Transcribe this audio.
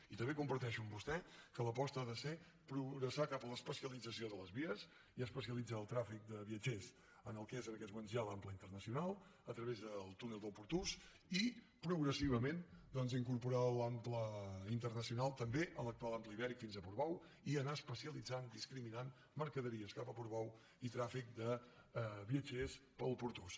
i també comparteixo amb vostè que l’aposta ha de ser progressar cap a l’especialització de les vies i especialitzar el trànsit de viatgers en el que és en aquests moments ja l’ample internacional a través del túnel del pertús i progressivament doncs incorporar l’ample internacional també a l’actual ample ibèric fins a portbou i anar especialitzant discriminant mercaderies cap a portbou i trànsit de viatgers pel pertús